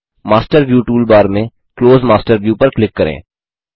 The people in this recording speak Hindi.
मास्टर व्यू टूलबार में क्लोज मास्टर व्यू पर क्लिक करें